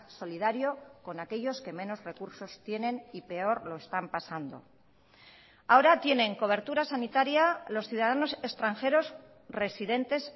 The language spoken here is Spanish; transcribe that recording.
solidario con aquellos que menos recursos tienen y peor lo están pasando ahora tienen cobertura sanitaria los ciudadanos extranjeros residentes